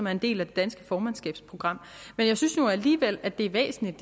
er en del af det danske formandskabsprogram jeg synes nu alligevel at det er væsentligt